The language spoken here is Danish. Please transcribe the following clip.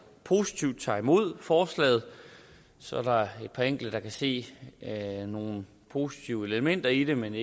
positivt tager imod forslaget så er der et par enkelte kan se nogle positive elementer i det men